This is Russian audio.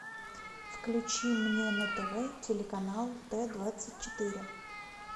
включи мне на тв телеканал т двадцать четыре